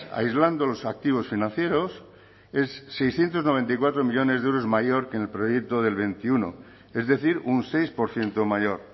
aislando los activos financieros es seiscientos noventa y cuatro millónes de euros mayor que en el proyecto del veintiuno es decir un seis por ciento mayor